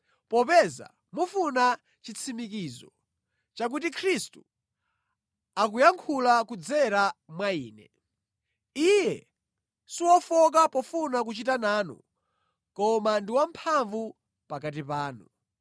popeza mufuna chitsimikizo chakuti Khristu akuyankhula kudzera mwa ine. Iye siwofowoka pofuna kuchita nanu koma ndi wamphamvu pakati panu.